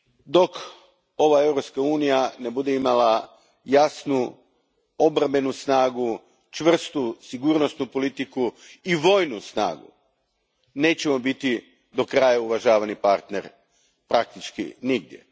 Dok ova Europska unija ne bude imala jasnu obrambenu snagu, čvrstu sigurnosnu politiku i vojnu snagu, nećemo biti do kraja uvažavani partner praktički nigdje.